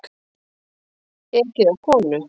Ekið á konu